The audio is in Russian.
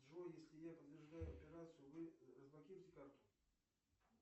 джой если я подтверждаю операцию вы разблокируйте карту